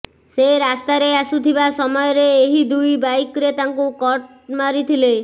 ସେ ରାସ୍ତାରେ ଆସୁଥିବା ସମୟରେ ଏହି ଦୁଇ ବାଇକରେ ତାଙ୍କୁ କଟ ମାରିଥିଲେ